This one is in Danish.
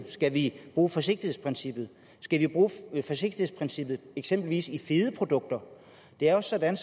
skal vi bruge forsigtighedsprincippet skal vi bruge forsigtighedsprincippet eksempelvis i fede produkter det er jo sådan